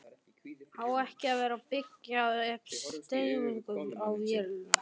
Á ekki að vera að byggja upp stemningu á vellinum??